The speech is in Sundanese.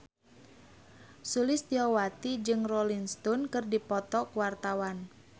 Sulistyowati jeung Rolling Stone keur dipoto ku wartawan